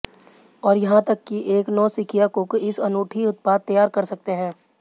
और यहां तक कि एक नौसिखिया कुक इस अनूठी उत्पाद तैयार कर सकते हैं